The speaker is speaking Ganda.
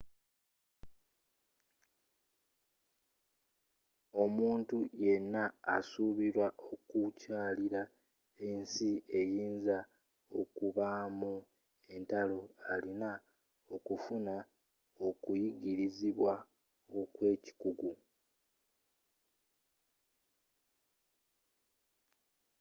omuntu yenna asuubira okukyalira ensi eyinza okubaamu entalo alina okufuna okuyigirizibwa okwekikugu